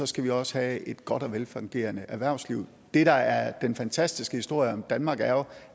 skal vi også have et godt og velfungerende erhvervsliv det der er den fantastiske historie om danmark er jo